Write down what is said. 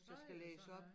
Tøj og sådan noget